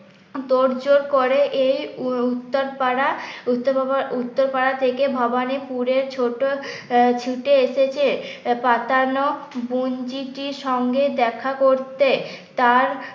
তোড়জোড় করে এই উত্তর পাড়া উত্তর উত্তরপাড়া থেকে ভবানীপুরে ছোট ছুটে এসেছে পাতানো বোনঝিটির সঙ্গে দেখা করতে তার